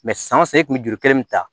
san o san e kun bɛ juru kelen nin ta